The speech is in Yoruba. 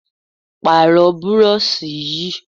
Pààrọ̀ burọ̀ṣì yìí!